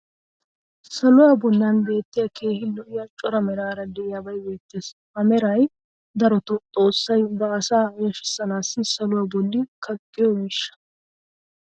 saluwaa bolan beetiya keehi lo'iya cora meraara diyabay beetees. ha meray darotoo xoossay ba asaa yashshisanaassi saluwaa bolli kaqqiyo miishsha.